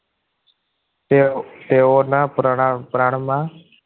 તે તેઓના પ્રમાણમાં પ્રાણમાં